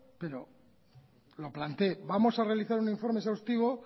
pero lo planteé vamos a realizar un informe exhaustivo